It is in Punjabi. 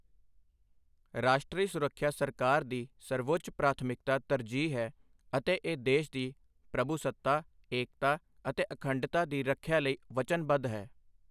ਰਾਸ਼ਟਰੀ ਸੁਰੱਖਿਆ ਸਰਕਾਰ ਦੀ ਸਰਵਉੱਚ ਪ੍ਰਾਥਮਿਕਤਾ ਤਰਜੀਹ ਹੈ ਅਤੇ ਇਹ ਦੇਸ਼ ਦੀ ਪ੍ਰਭੂਸੱਤਾ, ਏਕਤਾ ਅਤੇ ਅਖੰਡਤਾ ਦੀ ਰੱਖਿਆ ਲਈ ਵਚਨਬੱਧ ਹੈ।